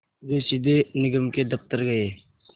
वे सीधे निगम के दफ़्तर गए